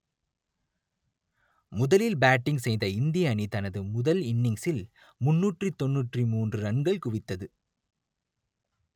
முதலில் பேட்டிங் செய்த இந்திய அணி தனது முதல் இன்னிங்ஸில் முன்னூற்று தொன்னூற்று மூன்று ரன்கள் குவித்தது